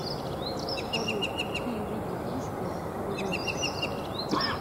салют какие виды истерн ты знаешь